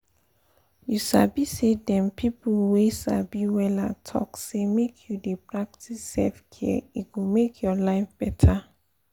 you sabi say dem people wey sabi wella talk say make you dey practice self-care e go make your life better